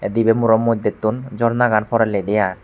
dibay muro moddetun jornagan porellidi ai.